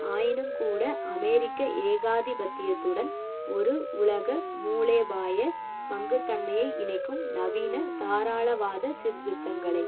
ஆயினும்கூட அமெரிக்க ஏகாதிபத்தியத்துடன் ஒரு உலக மூலேபாய பங்குத்தன்மையை இணைக்கும் நவீன தாராளவாத சீர்திருத்தங்களை